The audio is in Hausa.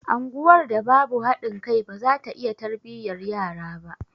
Anguwar da babu haɗin kai baza ta iya tarbiyyar yara ba